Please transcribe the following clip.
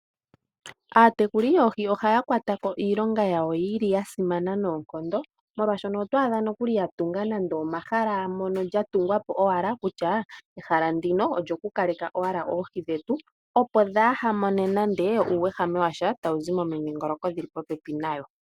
Aatekuli yoohi ohaya kwatako iilonga yawo yili ya simana noonkondo molwaashono oto adha nokuli ya tunga nande omahala mono lya tungwa po owala kutya, ehala ndino olyo kukaleka owala oohi dhetu opo dhaa hamone nande uuwehame washa tawu zi momidhingoloko dhili popepi nayo.